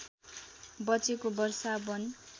बचेको वर्षा वन